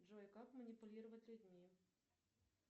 джой как манипулировать людьми